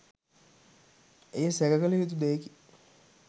එය සැකකළ යුතු දෙයකි